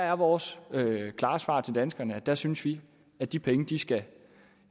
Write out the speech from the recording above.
er vores klare svar til danskerne at der synes vi at de penge skal